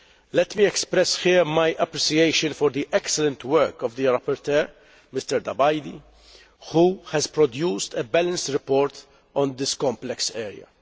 Let me express here my appreciation for the excellent work of the rapporteur, Mr Tabajdi, who has produced a balanced report on this complex area.